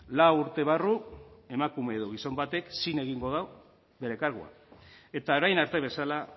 lau urte barru emakume edo gizon batek zin egingo du bere kargua eta orain arte bezala